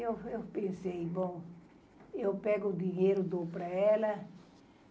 Eu, eu, pensei, bom, eu pego o dinheiro, dou para ela.